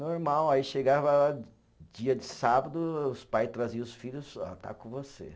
Normal, aí chegava dia de sábado, os pais traziam os filhos, ó, está com você.